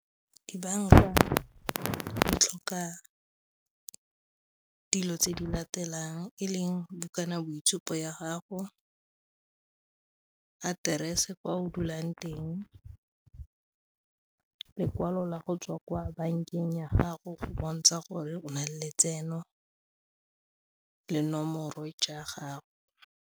Dibanka di tlhoka dilo tse di latelang e leng bukana boitshupo ya gago, aterese kwa o dulang teng, lekwalo la go tswa kwa bankeng ya gago go bontsha gore o na le letseno le nomoro jwa gago.